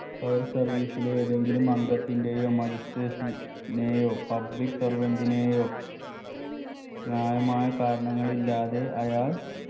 fire service ലെ ഏതെങ്കിലും അംഗത്തിന്റെയോ magistrate നെയോ public servant നെയോ ന്യായമായ കാരണങ്ങളില്ലാതെ അയാൾ